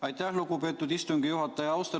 Aitäh, lugupeetud istungi juhataja!